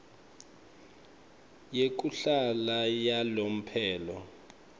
yekuhlala yalomphelo